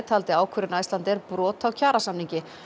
taldi ákvörðun Icelandair brot á kjarasamningi